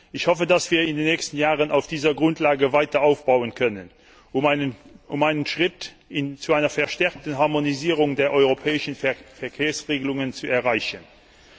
Ich hoffe, dass wir in den nächsten Jahren auf dieser Grundlage weiter aufbauen können, um einen Schritt zu einer verstärkten Harmonisierung der europäischen Verkehrsregelungen zu setzen.